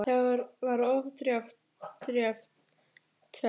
Það var of djarft teflt.